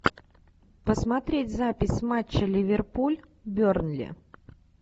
посмотреть запись матча ливерпуль бернли